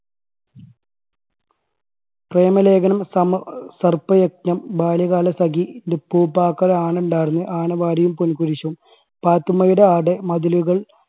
പ്രേമലേഖനം, സമ സർപ്പ യജ്ഞം, ബാല്യകാലസഖി, ന്റെ ഉപ്പൂപ്പാക്ക് ഒരു ആന ഉണ്ടായിരുന്നു, ആനവാരിയും പൊൻകുരിശും, പാത്തുമ്മയുടെ ആട്, മതിലുകൾ